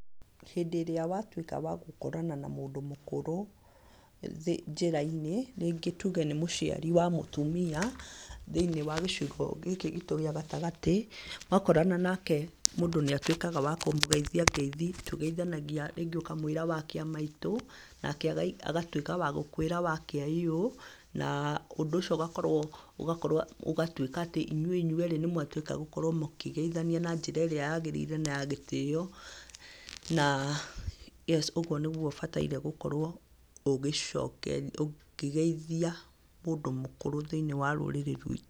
Hĩndĩ ĩrĩa watuĩka wa gũkorana na mũndũ mũkũrũ njĩra-inĩ, rĩngĩ tuuge nĩ mũciari wa mũtumia, thĩinĩ wa gĩcugo gĩkĩ gitu gĩa gatagatĩ, wa korana nake mũndũ nĩ atwĩkaga wa kũmũgeithia ngeithi tugeithanagia rĩngĩ, ũkamwĩra wakiamaitũ, nake agatwĩka wakũkwĩra wakĩaiyũ na, ũndũ ũcio ũgakorwo ũgakorwo ũgatwĩka atĩ inyuĩ ĩnywerĩ nĩmwatwĩka gũkorwo mũkĩgeithania na njĩra ĩrĩa yagĩrĩire na ya gĩtĩo na, yes ũgwo nĩgwo ũbataire gũkorwo ũkĩgeithia mũndũ mũkũrũ thĩinĩ wa rũrĩrĩ rwitũ.